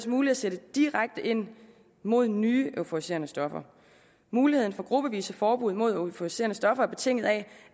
muligt at sætte direkte ind mod nye euforiserende stoffer muligheden for gruppevise forbud mod euforiserende stoffer er betinget af at